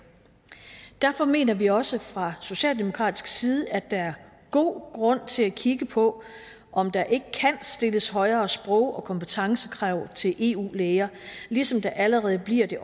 derfor mener vi også fra socialdemokratisk side at der er god grund til at kigge på om der ikke kan stilles højere sprog og kompetencekrav til eu læger ligesom der allerede bliver det